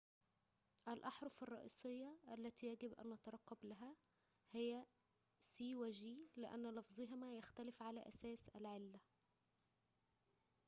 الأحرف الرئيسية التي يجب أن نترقب لها هي c و g لأن لفظهما يختلف على أساس العلة التالية